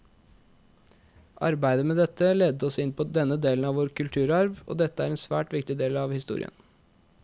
Arbeidet med dette ledet oss inn på denne delen av vår kulturarv, og dette er en svært viktig del av historia.